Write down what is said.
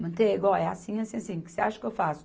Manteiga, ó, é assim, assim, assim, o que você acha que eu faço?